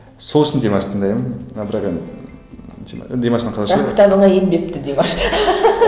сол үшін димашты тыңдаймын бірақ енді димаштың қазақша бірақ кітабыңа енбепті димаш